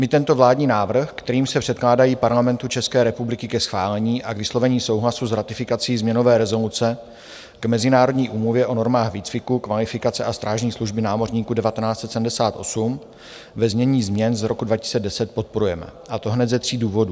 My tento vládní návrh, kterým se předkládají Parlamentu České republiky ke schválení a k vyslovení souhlasu s ratifikací změnové rezoluce k Mezinárodní úmluvě o normách výcviku, kvalifikace a strážní služby námořníků 1978, ve znění změn z roku 2010, podporujeme, a to hned ze tří důvodů.